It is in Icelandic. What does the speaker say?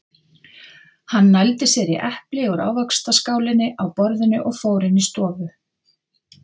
Hann nældi sér í epli úr ávaxtaskálinni á borðinu og fór inn í stofu.